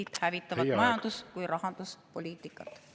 Eestit hävitavat majandus‑ kui ka rahanduspoliitikat.